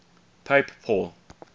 pope paul